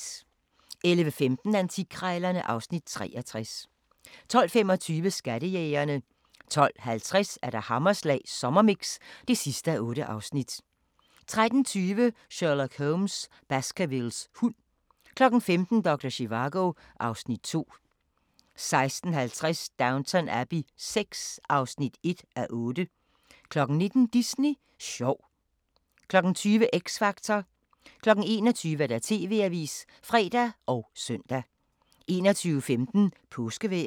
11:15: Antikkrejlerne (Afs. 63) 12:25: Skattejægerne 12:50: Hammerslag Sommermix (8:8) 13:20: Sherlock Holmes: Baskervilles hund 15:00: Doktor Zivago (Afs. 2) 16:50: Downton Abbey VI (1:8) 19:00: Disney sjov 20:00: X Factor 21:00: TV-avisen (fre og søn) 21:15: Påskevejret